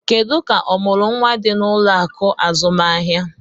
Kedu ka ọmụrụ nwa dị na ụlọ akụ azụmaahịa?